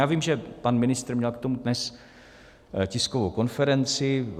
Já vím, že pan ministr měl k tomu dnes tiskovou konferenci.